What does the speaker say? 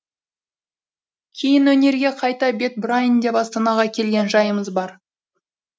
кейін өнерге қайта бет бұрайын деп астанаға келген жайымыз бар